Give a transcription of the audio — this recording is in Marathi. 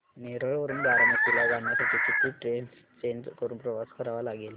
नेरळ वरून बारामती ला जाण्यासाठी किती ट्रेन्स चेंज करून प्रवास करावा लागेल